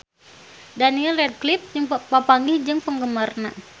Daniel Radcliffe papanggih jeung penggemarna